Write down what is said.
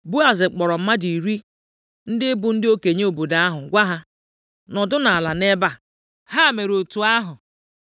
Boaz kpọrọ mmadụ iri, ndị bụ ndị okenye obodo ahụ, gwa ha, “Nọdụnụ ala nʼebe a.” Ha mere otu ahụ.